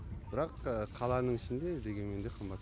бірақ қаланың ішінде дегенмен де қымбат